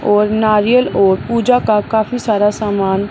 और नारियल और पूजा का काफी सारा सामान--